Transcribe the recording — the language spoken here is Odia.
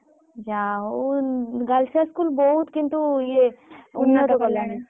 ଯାହା ହଉ Girls High School ବହୁତ କିନ୍ତୁ ଇଏ